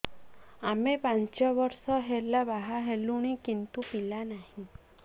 ଆମେ ପାଞ୍ଚ ବର୍ଷ ହେଲା ବାହା ହେଲୁଣି କିନ୍ତୁ ପିଲା ନାହିଁ